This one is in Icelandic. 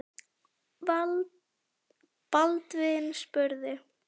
Baldvin spurði